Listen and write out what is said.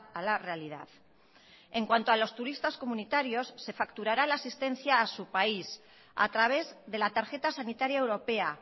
a la realidad en cuanto a los turistas comunitarios se facturará la asistencia a su país a través de la tarjeta sanitaria europea